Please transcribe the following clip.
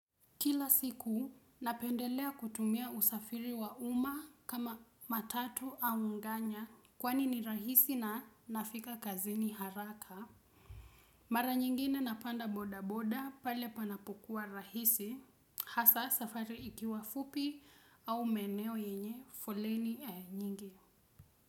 Kila siku napendelea kutumia usafiri wa umma kama matatu au nganya kwani ni rahisi na nafika kazini haraka. Mara nyingine napanda bodaboda pale panapokuwa rahisi hasa safari ikiwa fupi au maeneo yenye foleni ee nyingi.